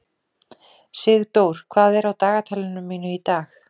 Sigdór, hvað er á dagatalinu mínu í dag?